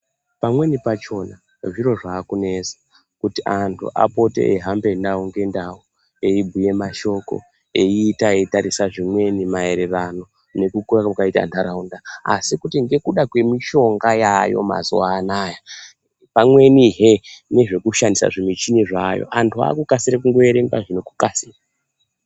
Pamweni pachona zviro zvakunesa kuti antu apote eyi hambe ndau nge ndau eyi bhuye mashoko eyi ita eyi tarisa zvimweni ma ererano neku kura kwakaita ndaraunda asi kuti ngekuda kwe mishonga yayo mazuva anaya pamweni hee nezveku shandisa zvi michini zvayo antu aku kasire kungo erenga ngeku kasira.